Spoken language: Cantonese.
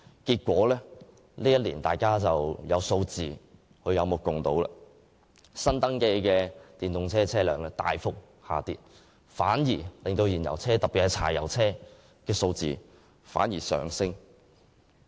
結果，本年的數字大家有目共睹，新登記的電動車輛數目大幅下跌，而燃油車——特別是柴油車——的數目則上升。